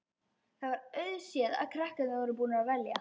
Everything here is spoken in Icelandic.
Það var auðséð að krakkarnir voru búnir að velja.